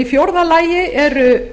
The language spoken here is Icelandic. í fjórða lagi eru